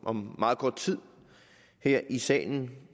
om meget kort tid her i salen